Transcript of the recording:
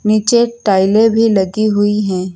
नीचे टाइलें भी लगी हुई हैं।